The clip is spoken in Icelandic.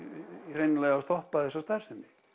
hreinlega stoppað þessa starfsemi